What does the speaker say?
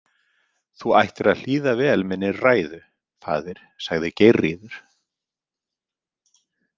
Þú ættir að hlýða vel minni ræðu, faðir, sagði Geirríður.